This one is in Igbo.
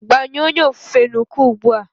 Gbanyụọ onye ofufe n'uko ugbu a!